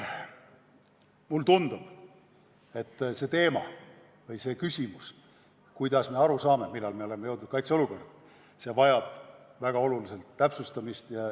Mulle tundub, et see teema või see küsimus, kuidas me aru saame, millal me oleme jõudnud kaitseolukorda, vajab väga olulisel määral täpsustamist.